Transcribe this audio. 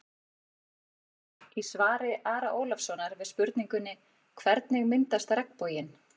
Í svari Ara Ólafssonar við spurningunni: Hvernig myndast regnboginn?